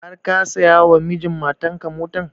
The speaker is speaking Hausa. Har ka saya wa mijin matan ka motan?